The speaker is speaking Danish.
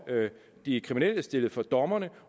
de kriminelle stillet for dommerne